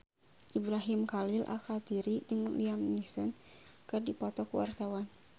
Ibrahim Khalil Alkatiri jeung Liam Neeson keur dipoto ku wartawan